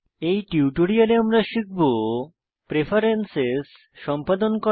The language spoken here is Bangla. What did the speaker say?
এই টিউটোরিয়ালে আমরা শিখব প্রেফেরেন্সেস সম্পাদন করা